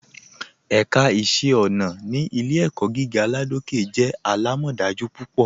Ẹ̀ká iṣẹ̀ ọ̀nà ni Ilẹ̀-ẹ̀kọ̀ gígà Ládòkè jẹ́ alámọdájú púpọ.